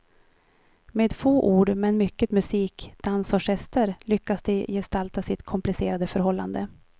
Med få ord men mycket musik, dans och gester lyckas de gestalta sitt komplicerade förhållande.